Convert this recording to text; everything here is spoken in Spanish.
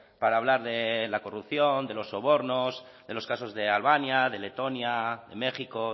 para hablar de la corrupción de los sobornos de los casos de albania de letonia de méxico